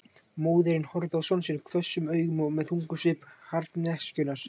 Móðirin horfði á son sinn hvössum augum og með þungum svip harðneskjunnar.